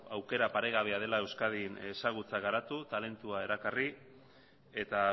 aukera paregabea dela euskadin ezagutza garatu talentua erakarri eta